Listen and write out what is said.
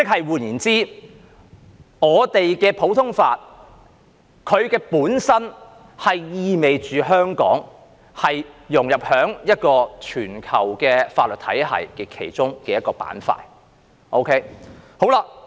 換言之，我們的普通法本身意味着香港融入於一個全球法律體系的其中一個板塊。